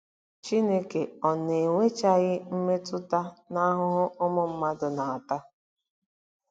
Chineke ọ̀ na-enwechaghị mmetụta n'ahụhụ ụmụ mmadụ na-ata?